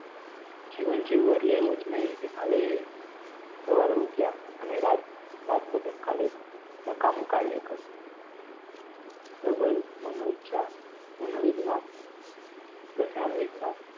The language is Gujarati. જીવન જીવવા એટલે એવું જ નહીં કે ખાલી સવારે ઉઠયા અને રાત રાત લગી કાલે નકામું કાર્ય કર્યું પ્રબળ મનોઇચ્છા મનોવિજ્ઞાન રસાયણ વિજ્ઞાન